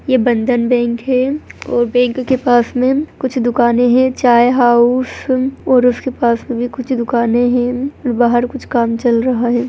ये बंधन बैंक है और बैंक के पास में कुछ दुकानें है चाय हाउस और उसके पास में भी कुछ दुकानें है बाहर कुछ काम चल रहा है।